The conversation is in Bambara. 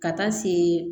Ka taa se